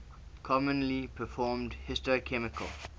commonly performed histochemical